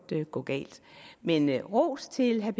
gå galt men jeg har ros til herre